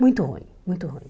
Muito ruim, muito ruim.